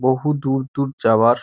বহু দূর দূর যাওয়ার --